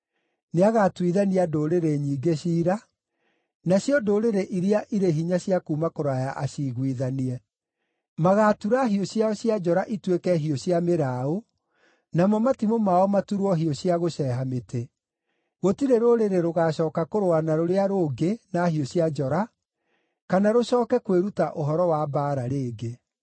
Nĩagatuithania ndũrĩrĩ nyingĩ ciira, nacio ndũrĩrĩ iria irĩ hinya cia kuuma kũraya aciiguithanie. Magaatura hiũ ciao cia njora ituĩke hiũ cia mĩraũ, namo matimũ mao maturwo hiũ cia gũceeha mĩtĩ. Gũtirĩ rũrĩrĩ rũgaacooka kũrũa na rũrĩa rũngĩ na hiũ cia njora, kana rũcooke kwĩruta ũhoro wa mbaara rĩngĩ.